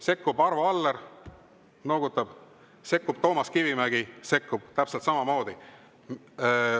Sekkub Arvo Aller – noogutab –, sekkub Toomas Kivimägi täpselt samamoodi.